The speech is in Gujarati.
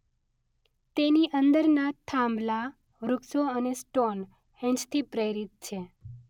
તેની અંદરના થાંભલા વૃક્ષો અને સ્ટોન હેંજ થી પ્રેરિત છે.